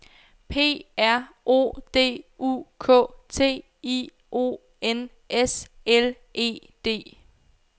P R O D U K T I O N S L E D